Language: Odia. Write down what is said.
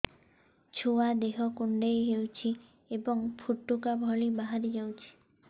ଛୁଆ ଦେହ କୁଣ୍ଡେଇ ହଉଛି ଏବଂ ଫୁଟୁକା ଭଳି ବାହାରିଯାଉଛି